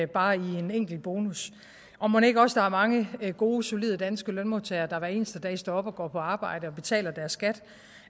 bare med en enkel bonus og mon ikke også er mange gode solide danske lønmodtagere der hver eneste dag står op og går på arbejde og betaler deres skat